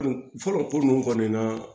Fɔlɔ ko ninnu kɔni na